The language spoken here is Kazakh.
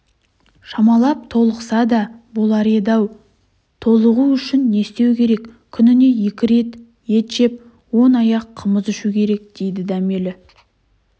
шамалап толықса да болар еді-ау толығу үшін не істеу керек күніне екі рет ет жеп он аяқ қымыз ішу керек дейді дәмелі